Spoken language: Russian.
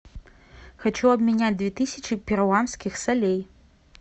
хочу обменять две тысячи перуанских солей